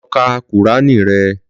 Lọ ka kùránì rẹ!